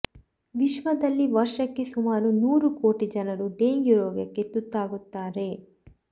ವಿಶ್ವದಲ್ಲಿ ವರ್ಷಕ್ಕೆ ಸುಮಾರು ನೂರು ಕೋಟಿ ಜನರು ಡೆಂಗ್ಯು ರೋಗಕ್ಕೆ ತುತ್ತಾಗುತ್ತಾರೆ